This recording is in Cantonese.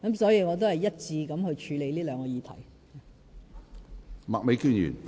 所以，我會一致地處理這兩項議題。